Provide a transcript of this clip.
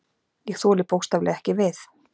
Ég þoli bókstaflega ekki við.